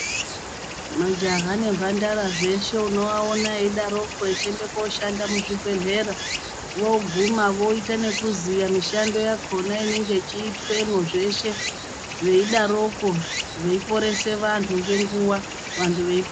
Majaha nemhandara zveshe unovaona veidaroko vechiende koshanda muzvibhedhlera, voguma voita nekuziya mishando yakona inenge ichiitwemwo, zveshe, veidaroko veiporese vantu ngenguwa, vantu vei..